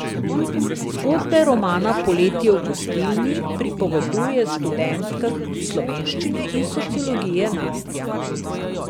Zgodbo romana Poletje v gostilni pripoveduje študentka slovenščine in sociologije Nastja.